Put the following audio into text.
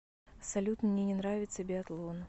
салют мне не нравится биатлон